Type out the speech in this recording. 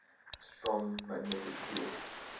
strong magnetic field